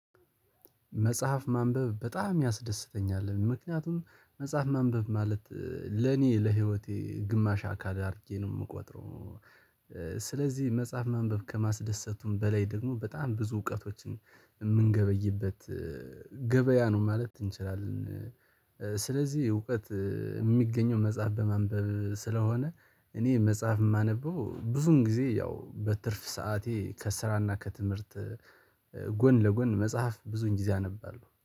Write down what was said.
መጽሐፍ ማንበብ በጣም ያስደስተኛል ምክንያቱም መጽሐፍ ማንበብ ማለት ለኔ ለህይወቴ ግማሽ አካል አድርጌ ነው የምቆጥረው። ስለዚህ መጽሐፍ ማንበብ ከማስደሰቱም በላይ ደግሞ በጣም ብዙ እውቀቶችን የምንገበይበት ገበያ ነው ማለት እንችላለን። ስለዚህ እውቀት የሚገኘው መጽሐፍ በማንበብ ስለሆነ እኔ መጽሐፍ የማነበው ብዙን ጊዜ ያው በትርፍ ሰዓቴ ከስራ እና ከትምህርት ጎን ለጎን መጽሐፍ ብዙን ጊዜ አነባለሁ